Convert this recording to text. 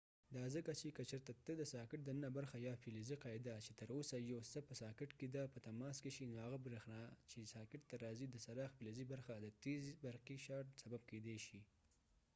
دا ځکه چې که چېرته ته د ساکټ دننه برخه یا فلزی قاعده چې تر اوسه یو څه په ساکټ کې ده په تماس کې شي نو هغه بریښنا چې ساکټ ته راځي د څراغ فلزی برخه د تیز برقی شارټ سبب کېدای شي